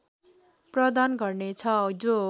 प्रदान गर्नेछ जो